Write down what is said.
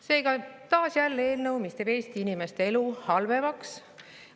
Seega, taas eelnõu, mis teeb Eesti inimeste elu halvemaks.